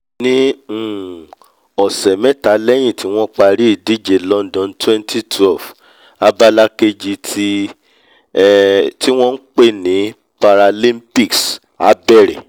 ní um ọ̀sẹ̀ mẹ́ta lẹ́hìn tí wọ́n parí ìdíje london twenty twelve abala kejì tí um wọ́n npè ní paralimpics á bẹ̀rẹ̀